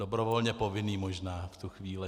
Dobrovolně povinný možná v tu chvíli.